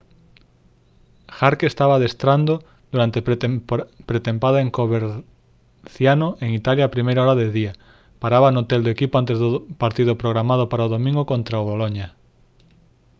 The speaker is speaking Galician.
jarque estaba adestrando durante pretempada en coverciano en italia a primeira hora do día paraba no hotel do equipo antes do partido programado para o domingo contra o boloña